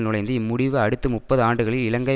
நுழைந்தது இம் முடிவு அடுத்து முப்பது ஆண்டுகளில் இலங்கை